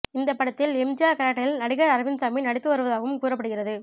இந்த படத்தில் எம்ஜிஆர் கேரக்டரில் நடிகர் அரவிந்த்சாமி நடித்து வருவதாகவும் கூறப்படுகிறது